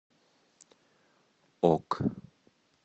ок